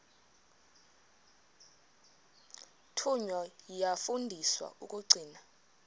thunywa yafundiswa ukugcina